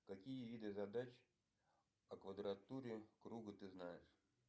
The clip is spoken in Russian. какие виды задач о квадратуре круга ты знаешь